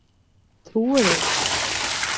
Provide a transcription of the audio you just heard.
Trúirðu honum?